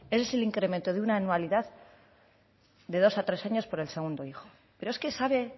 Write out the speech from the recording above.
es el incremento de una dualidad de dos a tres años por el segundo hijo pero es que sabe